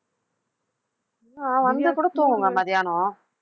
ஆஹ் வந்து கூட தூங்குங்க மதியானம்